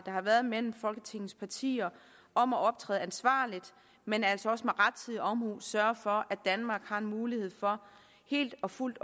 har været mellem folketingets partier om at optræde ansvarligt men altså også med rettidig omhu at sørge for at danmark har en mulighed for helt og fuldt